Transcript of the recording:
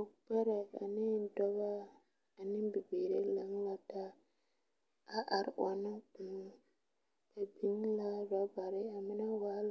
Pɔgeba ane dɔbɔ ane bibiiri laŋ la taa a are ɔnnɔ kõɔ ba biŋ la rɔbare a mine waa